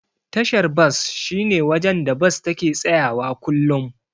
Tashar bas shine wajen da Bas take tsayawa kullum.